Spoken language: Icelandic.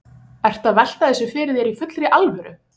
Ertu að velta þessu fyrir þér í fullri alvöru?